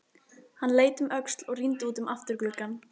Hann leit um öxl og rýndi út um afturgluggann.